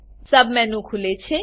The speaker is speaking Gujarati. સબમેનું ખુલે છે